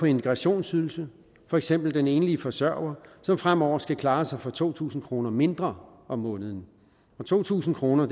integrationsydelsen for eksempel den enlige forsørger som fremover skal klare sig for to tusind kroner mindre om måneden to tusind kroner